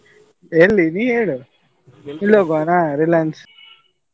ಎಲ್ಲಿ ನೀ ಹೇಳು Reliance ?